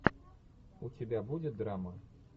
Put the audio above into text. у тебя будет драма